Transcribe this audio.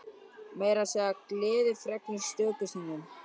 Meira að segja gleðifregnir stöku sinnum.